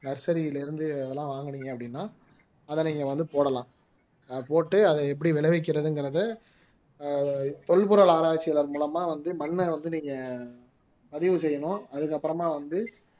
nursery ல இருந்து அதெல்லாம் வாங்குனீங்க அப்படின்னா அதை நீங்க வந்து போடலாம் போட்டு அதை எப்படி விளைவிக்கிறதுங்கிறதை ஆஹ் தொல்பொருள் ஆராய்ச்சியாளர் மூலமா வந்து மண்ணை வந்து நீங்க பதிவு செய்யணும் அதுக்கப்புறமா வந்து